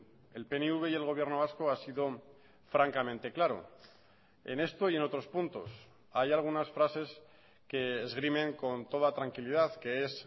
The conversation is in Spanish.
el pnv y el gobierno vasco ha sido francamente claro en esto y en otros puntos hay algunas frases que esgrimen con toda tranquilidad que es